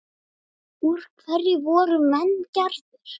Úr hverju voru menn gerðir?